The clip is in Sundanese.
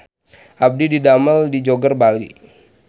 Abdi didamel di Joger Bali